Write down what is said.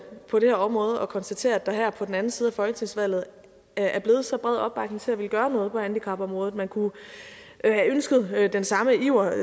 på det her område at konstatere at der her på den anden side af folketingsvalget er blevet så bred opbakning til at ville gøre noget på handicapområdet man kunne have ønsket den samme iver